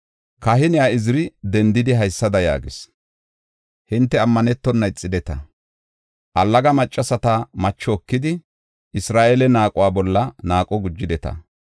Kahine Iziri dendiidi haysada yaagis; “Hinte ammanetonna ixideta; allaga maccasata macho ekidi, Isra7eele naaquwa bolla naaqo gujideta.